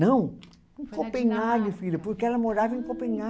Não, em Copenhague, filha, porque ela morava em Copenha